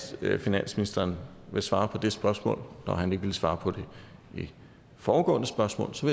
finansministeren vil svare på det spørgsmål når han ikke ville svare på det foregående spørgsmål så